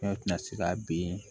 tɛna se ka ben